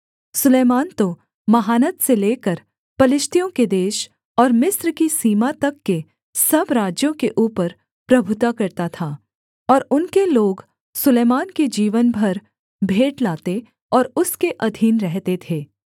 सुलैमान तो महानद से लेकर पलिश्तियों के देश और मिस्र की सीमा तक के सब राज्यों के ऊपर प्रभुता करता था और उनके लोग सुलैमान के जीवन भर भेंट लाते और उसके अधीन रहते थे